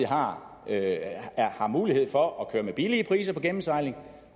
har har mulighed for at køre med billige priser på gennemsejling